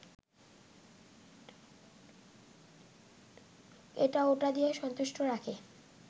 এটা ওটা দিয়ে সন্তুষ্ট রাখে